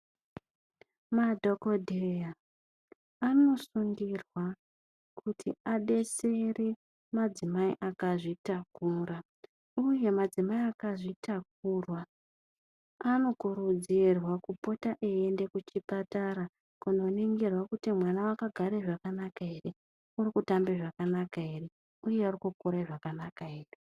Madhokoteya anosungirwa kuti adetsere madzimai akazvitakura ,uye madzimai akazvitakura anokuridzirwa kupota eyienda kuchipatara kuno ningirwa kuti mwana akagara zvakanaka here ,ari kutamba zvakanaka here uye ari kukura zvakanaka here.